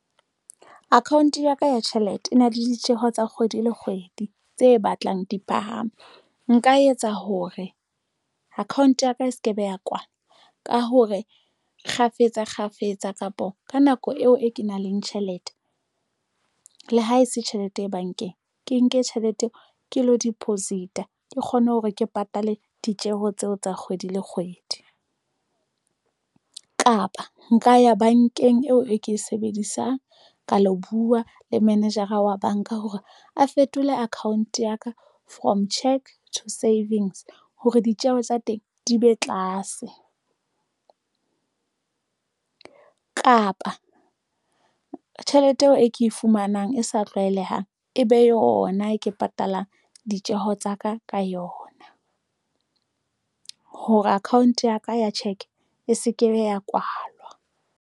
Account ya ka ya tjhelete e na le ditjeho tsa kgwedi le kgwedi tse batlang di phahame. Nka etsa hore account ya ka e se ke be ya kwalwa ka hore kgafetsa kgafetsa kapa ka nako eo e ke nang le tjhelete le ha ese tjhelete bankeng, ke nke tjhelete ke lo deposit-a ke kgone hore ke patale ditjeho tseo tsa kgwedi le kgwedi kapa nka ya bankeng eo e ke e sebedisang ka lo buwa le manejara wa banka hore a fetole account ya ka from check to savings hore ditjeho tsa teng di be tlase kapa tjhelete eo e ke e fumanang e sa tlwaelehang, e be yona e ke patalang ditjeho tsa ka ka yona hore account ya ka ya cheque e se ke ya kwalwa.